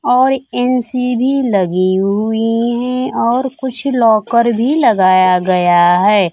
और एन_सी_बी लगी हुये है और कुछ लॉकर भी लगाया गया है।